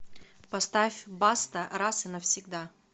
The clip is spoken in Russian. поставь баста раз и навсегда